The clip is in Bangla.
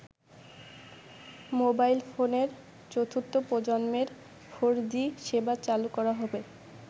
মোবাইল ফোনের চতুর্থ প্রজন্মের ফোর জি সেবা চালু করা হবে।